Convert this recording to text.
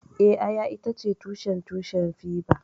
Eh, Aya itace tushen tushen fiber